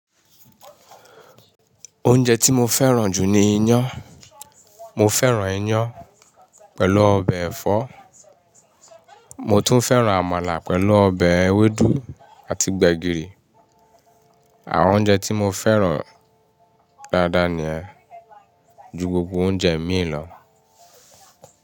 Oúnjẹ tí mo fẹ́ràn jù ni iyán. Mo fẹ́ràn iyán pẹ̀lú ọbẹ̀ ẹ̀fọ́, mo tún fẹ́ràn àmàlà pẹ̀lú ọbẹ̀ ewédú àti gbẹ̀gìrì. Àwọn oúnjẹ tí mo fẹ́ràn dáadáa ni yẹn, ju gbogbo oúnjẹ mí lọ.